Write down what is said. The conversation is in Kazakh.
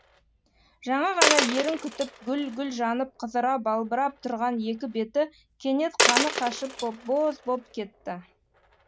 жаңа ғана ерін күтіп гүл гүл жанып қызара балбырап тұрған екі беті кенет қаны қашып боп боз боп кетті